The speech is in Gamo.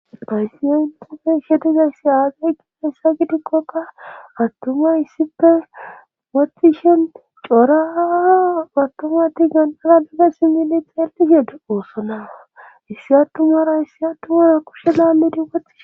payssi7e upufe shedezayssi aagay gixasa gidikkoka attuma issife woxxishen cora battumati ganxara bigasi milith heltished oossona issi attumara issi attumara kushe laalleti woxxihe